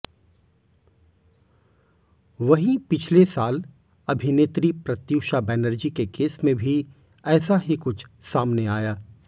वहीं पिछले साल अभिनेत्री प्रत्यूषा बैनर्जी के केस में भी ऐसा ही कुछ सामने आया